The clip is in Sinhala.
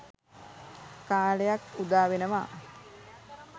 කාලයක් උදා වෙනවා.